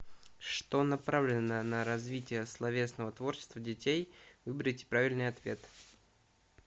что направлено на развитие словесного творчества детей выберите правильный ответ